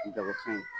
Jagofɛn ye